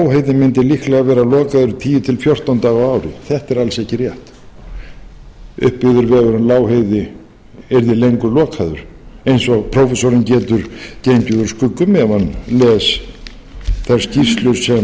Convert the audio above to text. lokaður tíu til fjórtán daga á ári þetta er alls ekki rétt uppbyggður vegur um lágheiði yrði lengur lokaður eins og prófessorinn getur gengið úr skugga um ef hann les þær skýrslur sem